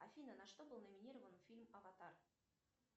афина на что был номинирован фильм аватар